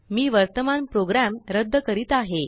मी वर्तमान प्रोग्राम रद्द करीत आहे